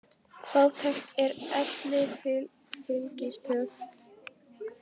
Fátækt er elli fylgispök.